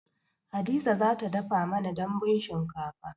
Hadiza za ta dafa mana dambun shinkafa